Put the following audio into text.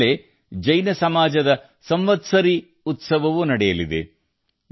ಇದೇ ವೇಳೆ ಜೈನ ಸಮುದಾಯದ ಸಂವತ್ಸರಿ ಉತ್ಸವವೂ ನಡೆಯಲಿದೆ